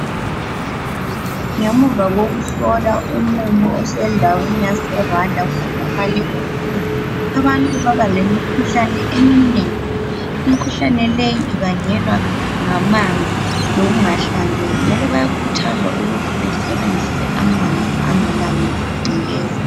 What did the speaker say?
Ngemuva kokuhlola umumo osendaweni yase Rwanda kutholakale ukuthi abantu baba lemikhuhlane eminengi imikhuhlane leyi ibangelwa ngamanzi lokungahlanzeki njalo bayakhuthazwa ukuthi besebenzise amanzi angela ngcekeza.